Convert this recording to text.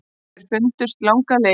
Þeir fundust langar leiðir.